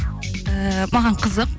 ііі маған қызық